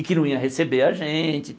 E que não ia receber a gente.